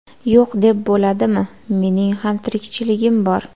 Yo‘q deb bo‘ladimi, mening ham tirikchiligim bor.